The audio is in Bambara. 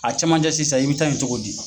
A caman cɛ sisan i bɛ taa yen cogo di.